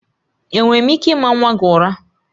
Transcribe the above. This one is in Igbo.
Enwere m ike ịma nwa gị ụra?